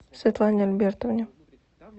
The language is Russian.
светлане альбертовне